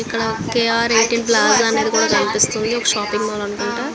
ఇక్కడ కె ర్ ఎ.టి.ఎం ప్లాజా కనిపెస్తునది. వక షాపింగ్ మాల్ అనుకుంట.